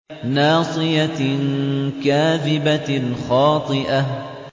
نَاصِيَةٍ كَاذِبَةٍ خَاطِئَةٍ